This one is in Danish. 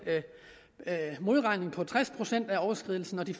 modregning på tres procent af overskridelsen de